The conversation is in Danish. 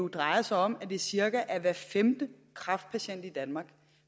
drejer sig om at det cirka er hver femte kræftpatient i danmark